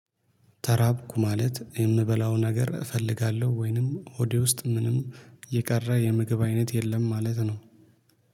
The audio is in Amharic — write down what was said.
ተራብኩ ማለት የምበላው ነገር እፈልጋለሁ ወይንም ሆዴ ውስጥ ምንም የቀረ የምግብ አይነት የለም ማለት ነው።